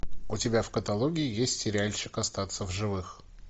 у тебя в каталоге есть сериальчик остаться в живых